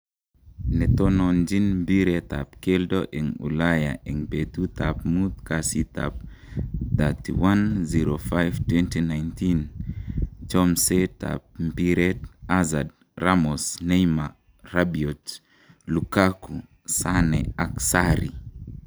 Netononjin mbiiret ab keldo en Ulaya en betut ab muut kasit 31.05.2019:Chomset ab Mbiiret:Hazard, Ramos, Neymar, Rabiot, Lukaku, Sane ak Sarri.